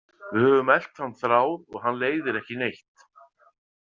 Við höfum elt þann þráð og hann leiðir ekki neitt.